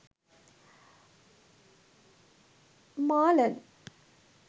marlen